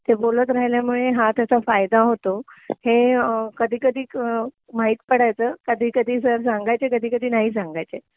ते बोलत राहिल्यामुळे हा त्याचा फायदा होतो हे कधी कधी माहित पडायचं कधी कधी सर सांगायचे कधी कधी नाही सांगायचे